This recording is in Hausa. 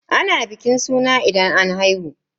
Ana bikin suna idan an haihu.